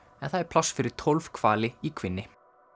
en það er pláss fyrir tólf hvali í kvínni